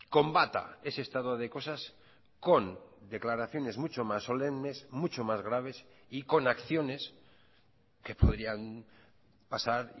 combata ese estado de cosas con declaraciones mucho más solemnes mucho más graves y con acciones que podrían pasar